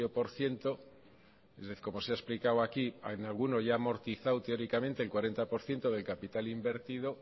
por ciento como se ha explicado aquí en alguno ya ha amortizado teóricamente el cuarenta por ciento del capital invertido